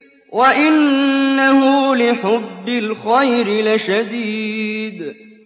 وَإِنَّهُ لِحُبِّ الْخَيْرِ لَشَدِيدٌ